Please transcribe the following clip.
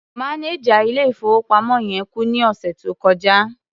Mánẹjà ilé-ìfowópamọ́ yẹn kú ní ọ̀sẹ̀ tó kọjá.